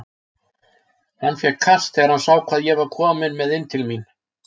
Hann fékk kast þegar hann sá hvað ég var kominn með inn til mín.